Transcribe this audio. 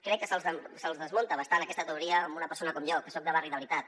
crec que se’ls desmunta bastant aquesta teoria amb una persona com jo que soc de barri de veritat